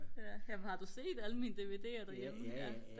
jamen har du set alle mine DVD'er derhjemme?